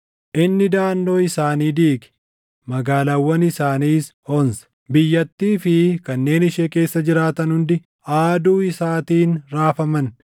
Inni daʼannoo isaanii diige; magaalaawwan isaaniis onse. Biyyattii fi kanneen ishee keessa jiraatan hundi aaduu isaatiin raafaman.